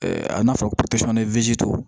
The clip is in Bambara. a n'a fɔra ko